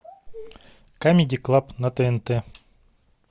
камеди клаб на тнт